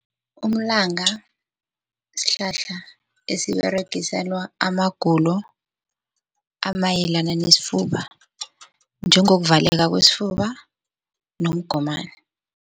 Umlanga sihlahla esiberegiselwa amagulo amayelana nesifuba njengokuvaleka kwesifuba nomgomani.